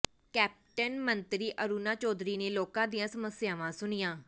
cabinet ਮੰਤਰੀ ਅਰੁਣਾ ਚੌਧਰੀ ਨੇ ਲੋਕਾਂ ਦੀਆਂ ਸਮੱਸਿਆਵਾਂ ਸੁਣੀਆਂ